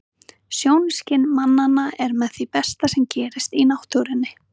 Sjónskyn mannanna er með því besta sem gerist í náttúrunni.